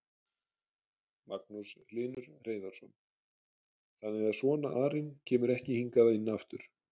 Magnús Hlynur Hreiðarsson: Þannig að svona arinn kemur ekki hingað inn aftur?